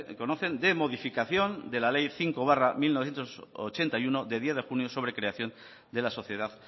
conocen de modificación de la ley cinco barra mil novecientos ochenta y uno de diez junio sobre creación de la sociedad